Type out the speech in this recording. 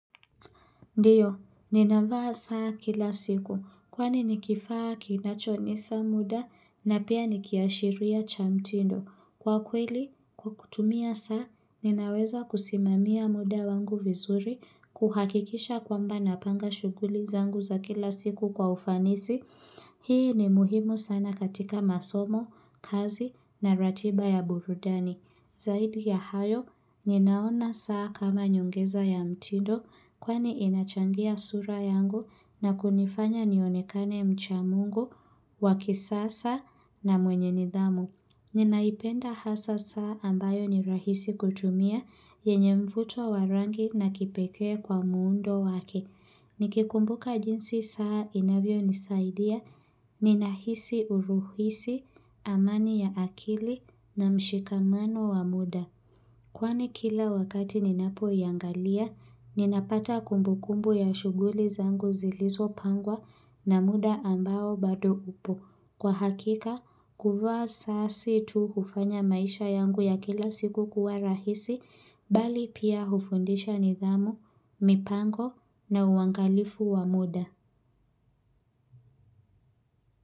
Ndiyo, nina vaa saa kila siku, kwani nikifaa kinachonisa muda na pia niki ashiria cha mtindo. Kwa kweli, kwa kutumia saa, ninaweza kusimamia mda wangu vizuri kuhakikisha kwamba napanga shughuli zangu za kila siku kwa ufanisi. Hii ni muhimu sana katika masomo, kazi na ratiba ya burudani. Zaidi ya hayo, ninaona saa kama nyongeza ya mtindo kwani inachangia sura yangu na kunifanya nionekane mcha mungu wa kisasa na mwenye nidhamu. Ninaipenda hasa saa ambayo ni rahisi kutumia yenye mfuto wa rangi na kipekee kwa muundo wake. Niki kumbuka jinsi saa inavyo nisaidia, ninahisi uruhisi, amani ya akili na mshikamano wa mda. Kwani kila wakati ninapo angalia, ninapata kumbukumbu ya shughuli zangu zilizo pangwa na mda ambao bado upo. Kwa hakika, kuvaa saa si tu hufanya maisha yangu ya kila siku kuwa rahisi, bali pia hufundisha nidhamu, mipango na uangalifu wa mda.